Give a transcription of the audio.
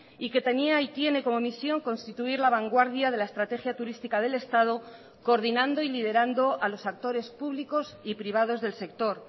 y que tenía y tiene como misión constituir la vanguardia de la estrategia turística del estado coordinando y liderando a los actores públicos y privados del sector